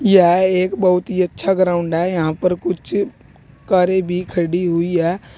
यह एक बहुत ही अच्छा ग्राउंड है यहां पर कुछ कारें भी खड़ी हुई हैं।